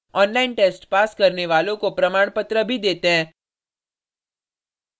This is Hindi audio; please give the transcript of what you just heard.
online test pass करने वालों को प्रमाणपत्र भी देते हैं